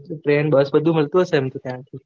trainbus બધું મળતું હીસે ને ત્યાંથી